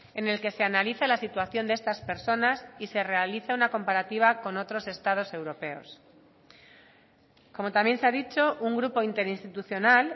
en el que se analiza la situación de estas personas y se realiza una comparativa con otros estados europeos como también se ha dicho un grupo interinstitucional